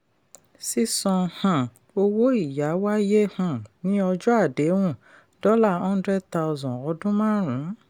sísan um owó ìyá wáyé um ní ọjọ́ àdéhùn dollar hundred thousand ọdún márùn-ún.